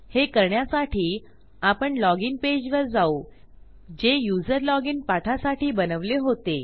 हे करण्यासाठी आपण लॉजिन पेजवर जाऊ जे यूझर लॉजिन पाठासाठी बनवले होते